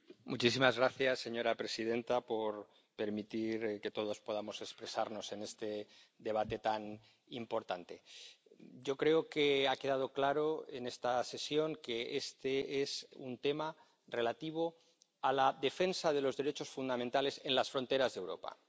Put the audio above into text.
Señora presidenta, muchísimas gracias por permitir que todos podamos expresarnos en este debate tan importante. Yo creo que ha quedado claro en esta sesión que este es un tema relativo a la defensa de los derechos fundamentales en las fronteras de Europa.